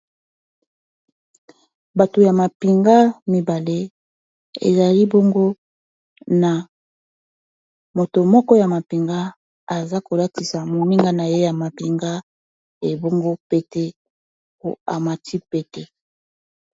bato ya mapinga mibale ezali bongo na moto moko ya mapinga aza kolatisa mominga na ye ya mapinga ebongo peteamati pete